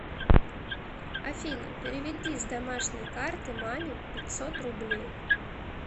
афина переведи с домашней карты маме пятьсот рублей